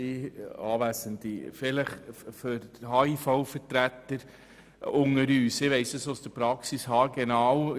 Zu den Vertretern des HIV: Ich weiss es aus der Praxis haargenau: